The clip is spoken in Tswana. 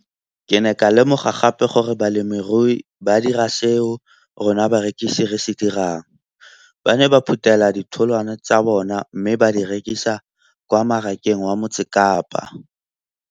Ke ne ka lemoga gape gore balemirui ba dira seo rona barekisi re se dirang - ba ne ba phuthela ditholwana tsa bona mme ba di rekisa kwa marakeng wa Motsekapa.